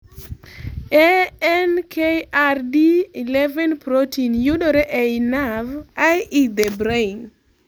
ANKRD11 protein yudore ei nervei.e the brain